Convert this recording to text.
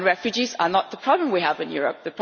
Refugees are not the problem we have in Europe.